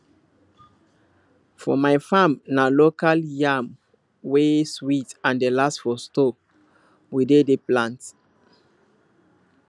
for my farm na local yam wey sweet and dey last for store we dey dey plant